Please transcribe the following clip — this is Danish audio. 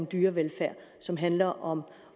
dyrevelfærd som handler om